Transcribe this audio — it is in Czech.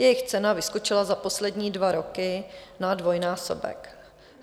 Jejich cena vyskočila za poslední dva roky na dvojnásobek.